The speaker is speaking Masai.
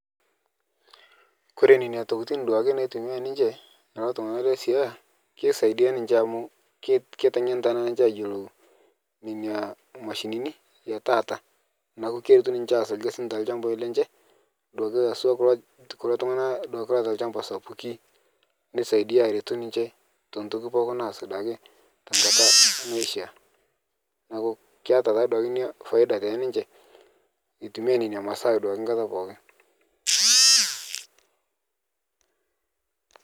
Kore neina tokitin duake naitumiyaa ninche lolo tung'ana le Siaya, keisaidia ninche amu ket keteng'enita naa ninche ayolou neina mashinini etaata, naaku keretu ninche aas lgasi te lchambai lenche duake haswa kulo tu kulo tung'ana duake loata lchamba sapuki, neisaidia eretu ninche te ntoki pooki naas duake tenkata naishaa, naaku keata ta duake inia [cs[ faida te ninche etumiyaa neina masaa naa duake pookin.